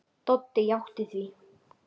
Doddi játti því.